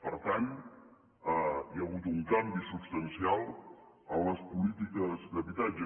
per tant hi ha hagut un canvi substancial en les polítiques d’habitatge